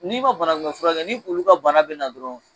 N'i ma banakunmɛn furakɛ ni olu ka bana bina dɔrɔn